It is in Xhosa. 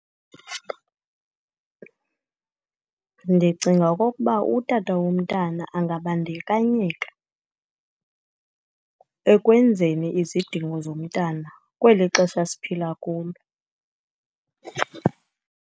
Ndicinga okokuba utata womntana angabandikanyeka ekwenzeni izidingo zomntana kweli xesha siphila kulo.